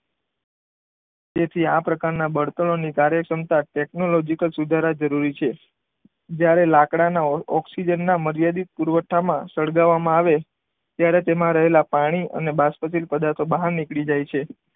તેથી આ પ્રકારના બળતણોની કાર્યક્ષમતા ટેકનોલોજીકલ સુધારા જરૂરી છે. જ્યારે લાકડાના ઓક્સિજનના મર્યાદિત જથ્થામાં સળગાવવામાં આવે ત્યારે, તેમાં રહેલા પાણી અને બાષ્પશીલ પદાર્થો બહાર નીકળી જાય છે.